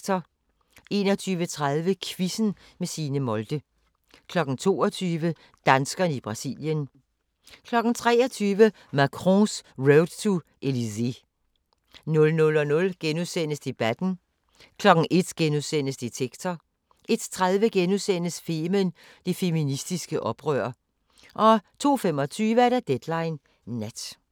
21:30: Quizzen med Signe Molde 22:00: Danskerne i Brasilien 23:00: Macron's Road to Elysée 00:00: Debatten * 01:00: Detektor * 01:30: Femen: Det feministiske oprør * 02:25: Deadline Nat